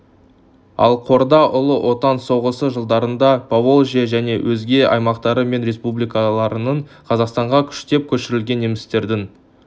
ал қорда ұлы отан соғысы жылдарында поволжье және өзге аймақтары мен республикаларынан қазақстанға күштеп көшірілген немістердің